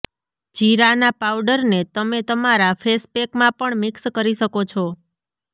જીરા ના પાઉડર ને તમે તમારા ફેસપેક માં પણ મિક્સ કરી શકો છો